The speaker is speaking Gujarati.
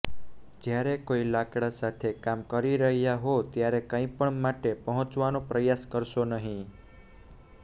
જ્યારે કોઈ લાકડાં સાથે કામ કરી રહ્યા હો ત્યારે કંઈપણ માટે પહોંચવાનો પ્રયાસ કરશો નહીં